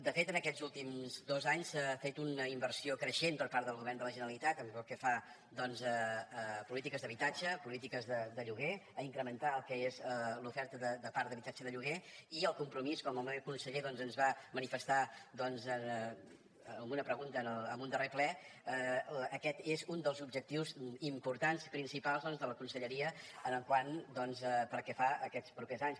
de fet en aquests últims dos anys s’ha fet una inversió creixent per part del govern de la generalitat pel que fa a polítiques d’habitatge polítiques de lloguer a incrementar el que és l’oferta de parc d’habitatge de lloguer i al compromís com el meu conseller ens va manifestar en una pregunta en un darrer ple aquest és un dels objectius importants principals de la conselleria pel que fa a aquests propers anys